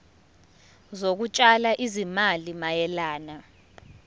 zokutshala izimali mayelana